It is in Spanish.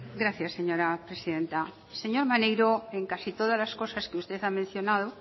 gracias señora presidenta señor maneiro en casi todas las cosas que usted ha mencionado